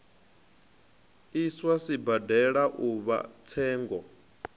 iswa sibadela uvha a tsengo